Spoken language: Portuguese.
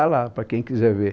A pestá lá, para quem quiser ver.